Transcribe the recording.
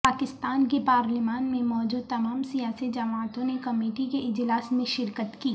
پاکستان کی پارلیمان میں موجود تمام سیاسی جماعتوں نے کمیٹی کے اجلاس میں شرکت کی